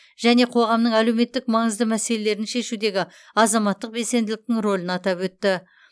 және қоғамның әлеуметтік маңызды мәселелерін шешудегі азаматтық белсенділіктің рөлін атап өтті